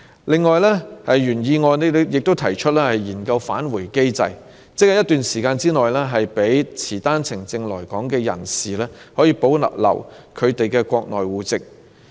另外，原議案提出研究訂立"返回機制"，亦即在一段時間內，讓持單程證來港的人士可保留他們在國內的戶籍。